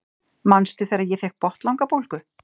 Manstu þegar ég fékk botnlangabólgu?